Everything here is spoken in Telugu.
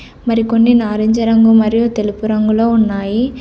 మరికొన్ని నారింజ రంగు మరియు తెలుపు రంగులో ఉన్నాయి.